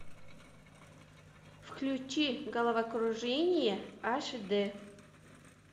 включи головокружение аш дэ